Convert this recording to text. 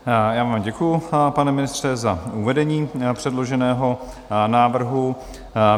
Já vám děkuju, pane ministře, za uvedení předloženého návrhu.